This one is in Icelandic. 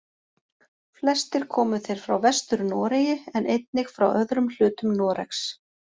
Flestir komu þeir frá Vestur-Noregi en einnig frá öðrum hlutum Noregs.